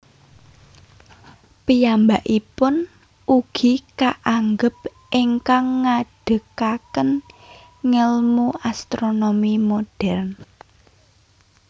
Piyambakipun ugi kaanggep ingkang ngadegaken ngèlmu astronomi modern